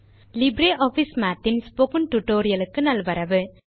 LibreOffice Mathன் spoken tutorial க்கு நல்வரவு